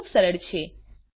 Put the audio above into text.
આ ખૂબ સરળ છે